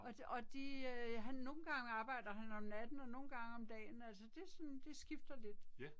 Og og de øh han nogle gange arbejder han om natten og nogle gange om dagen altså det sådan skifter lidt